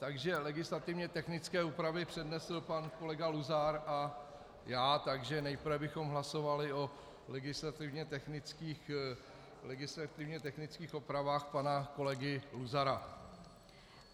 Takže legislativně technické úpravy přednesl pan kolega Luzar a já, takže nejprve bychom hlasovali o legislativně technických úpravách pana kolegy Luzara.